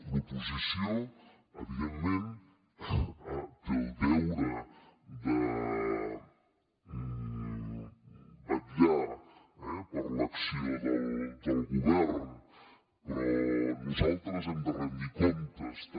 l’oposició evidentment té el deure de vetllar eh per l’acció del govern però nosaltres hem de rendir comptes també